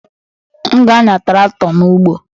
M ga-anya traktọ n'ugbo